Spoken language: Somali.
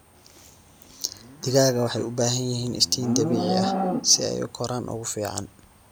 Digaaga waxay u baahan yihiin iftiin dabiici ah si ay u koraan ugu fiican.